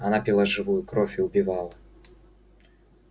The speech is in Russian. она пила живую кровь и убивала